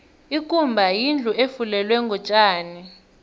ikumba yindlu efulelwe ngotjani